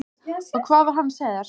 Og hvað var hann að segja þér?